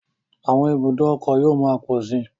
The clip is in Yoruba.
Àwọn ibùdókọ̀ yóò máa pọ̀ sí.